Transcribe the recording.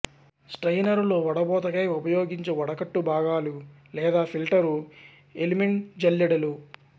స్ట్రయినరులో వడబోతకై ఉపయోగించు వడగట్టు భాగాలు లేదా ఫిల్టరు ఎలిమెంట్జల్లెడలు